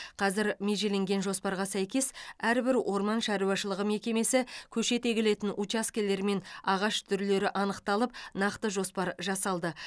қазір межеленген жоспарға сәйкес әрбір орман шаруашылығы мекемесі көшет егілетін учаскелер мен ағаш түрлері анықталып нақты жоспар жасалды